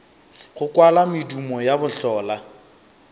go kwala medumo ya bohlola